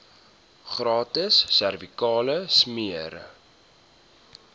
gratis servikale smere